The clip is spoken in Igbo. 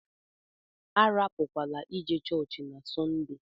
Arapukwala ije chọọchị na Sọnde!